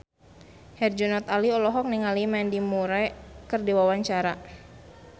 Herjunot Ali olohok ningali Mandy Moore keur diwawancara